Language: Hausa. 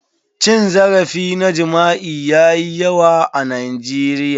Cin zarafi na jima'i yayi yawa a Nigeria.